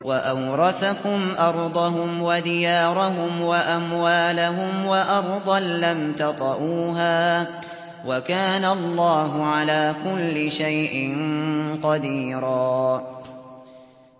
وَأَوْرَثَكُمْ أَرْضَهُمْ وَدِيَارَهُمْ وَأَمْوَالَهُمْ وَأَرْضًا لَّمْ تَطَئُوهَا ۚ وَكَانَ اللَّهُ عَلَىٰ كُلِّ شَيْءٍ قَدِيرًا